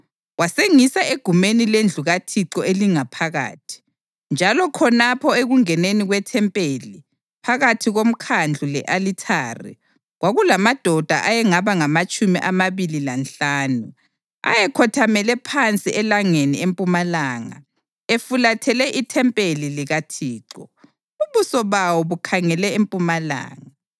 Wasengisa egumeni lendlu kaThixo elingaphakathi, njalo khonapho ekungeneni kwethempeli, phakathi komkhandlu le-alithari, kwakulamadoda ayengaba ngamatshumi amabili lanhlanu. Ayekhothamele phansi elangeni empumalanga, efulathele ithempeli likaThixo. Ubuso bawo bukhangele empumalanga.